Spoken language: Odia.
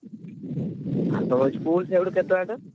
ଆଉ ତମ school ସେଇଠୁ କେତେ ବାଟ?